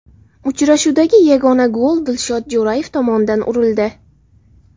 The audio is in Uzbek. Uchrashuvdagi yagona gol Dilshod Jo‘rayev tomonidan urildi.